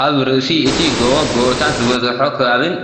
ኣብ ርእሲ እቲ ጎቦ ጎቦታት ዝበዝሖ ከባቢን